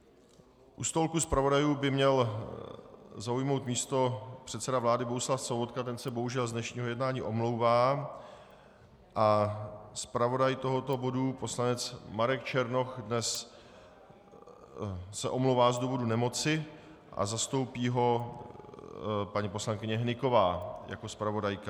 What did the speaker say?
U stolku zpravodajů by měl zaujmout místo předseda vlády Bohuslav Sobotka, ten se bohužel z dnešního jednání omlouvá, a zpravodaj tohoto bodu poslanec Marek Černoch se dnes omlouvá z důvodu nemoci a zastoupí ho paní poslankyně Hnyková jako zpravodajka.